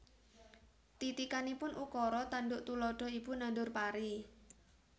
Titikanipun Ukara tanduk tuladha Ibu nandur pari